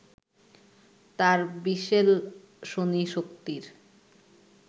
তার বিশেল-ষণী শক্তির